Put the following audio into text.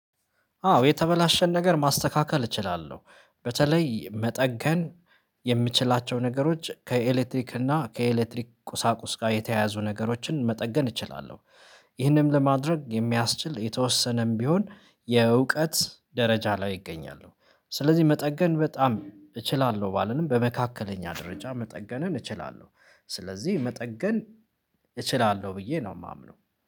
አዎ የተበላሸን ነገር ማስተካከል እችላለሁ በተለይ መጠገን የምችላቸው ነገሮች ከኤሌክትሪክ እና ከኤሌክትሪክ ቁሳቁስ ጋር የተያያዙ ነገሮችን መጠገን እችላለሁ። ይህንን ለማድረግ የሚያስችል የተወሰነም ቢሆን የእውቀት ደረጃ ላይ ይገኛሉ። ስለዚህ መጠገን በጣም እችላለሁ ባልልም በመካከለኛ ደረጃ መጠገንን እችላለሁ። ስለዚህ መጠገን እችላለሁ ብዬ ነው የማምነው።